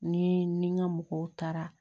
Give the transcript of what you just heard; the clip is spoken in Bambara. Ni ni n ga mɔgɔw taara